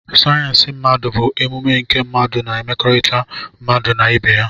sayensị mmadụ bụ ọmụmụ nke mmadụ na mmekọrịta mmadụ na ibe ya